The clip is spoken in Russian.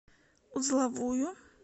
узловую